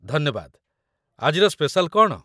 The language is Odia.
ଧନ୍ୟବାଦ। ଆଜିର ସ୍ପେସାଲ୍ କ'ଣ?